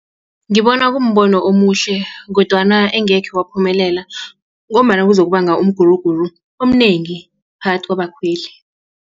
Ngibona kumbono omuhle kodwana engekhe waphumelela ngombana kuzokubanga umguruguru omnengi phakathi kwabakhweli.